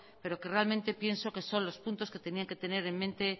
pero que realmente pienso que son los puntos que tendrían que tener en mente